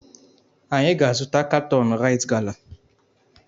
Anyị ga-azụta katọn raịt gala.